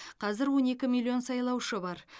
қазір он екі миллион сайлаушы бар